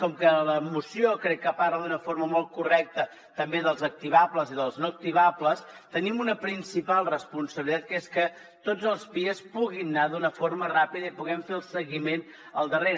com que la moció crec que parla d’una forma molt correcta també dels activables i dels no activables tenim una principal responsabilitat que és que tots els pias puguin anar d’una forma ràpida i en puguem fer el seguiment al darrere